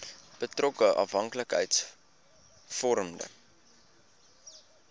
betrokke afhanklikheids vormende